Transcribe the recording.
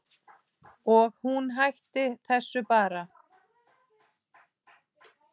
Og hún hætti þessu bara.